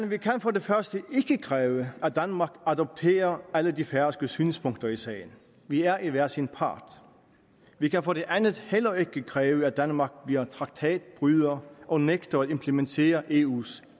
vi kan for det første ikke kræve at danmark adopterer alle de færøske synspunkter i sagen vi er er hver sin part vi kan for det andet heller ikke kræve at danmark bliver en traktatbryder og nægter at implementere eus